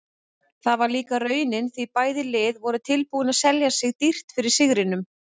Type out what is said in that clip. Það var líka raunin því bæði lið voru tilbúin að selja sig dýrt fyrir sigrinum.